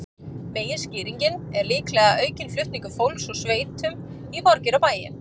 Meginskýringin er líklega aukinn flutningur fólks úr sveitum í borgir og bæi.